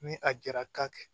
Ni a jara ka kɛ